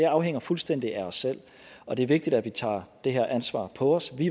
afhænger fuldstændig af os selv og det er vigtigt at vi tager det her ansvar på os vi